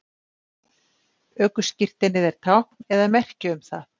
ökuskírteinið er tákn eða merki um það